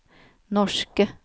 norske